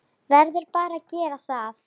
Verðum bara að gera það.